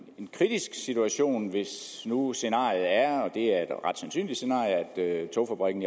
kritisk situation hvis nu scenariet er og det er et ret sandsynligt scenarie at togfabrikken